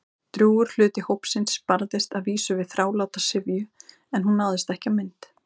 Drjúgur hluti hópsins barðist að vísu við þráláta syfju- en hún náðist ekki á mynd.